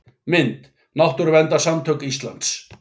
Mynd: Náttúruverndarsamtök Íslands